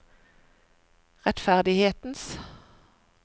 rettferdighetens